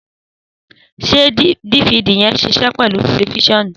Sẹ difidi yẹ́n sisẹ pẹlú tẹlifisionu?